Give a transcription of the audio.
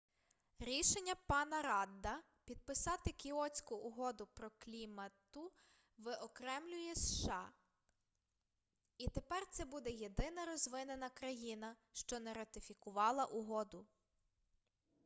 рішення пана радда підписати кіотську угоду по клімату виокремлює сша і тепер це буде єдина розвинена країна що не ратифікувала угоду